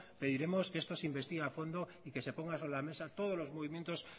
pediremos que esto se investigue a fondo y que se ponga sobre la mesa todos los movimientos